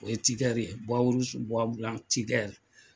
O ye Tider ye, Tider.